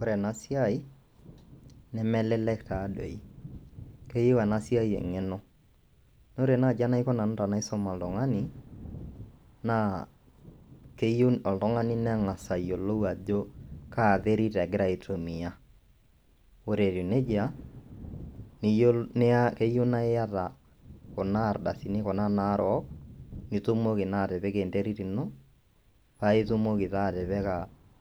Ore ena siai nemelelek taadoi keyieu ena siai eng'eno naa ore naaji enaiko nanu tenaisum oltung'ani naa keyieu oltung'ani neng'as ayiolou ajo kaa terir egira aitumiya ore etiiu nejia eyeiu naa iyata kuna ardasini kuna naarok nitumoki naa atipika enterit ino paa itumoki taa atipika